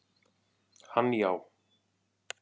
Hann já.